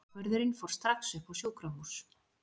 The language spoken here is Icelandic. Bakvörðurinn fór strax upp á sjúkrahús.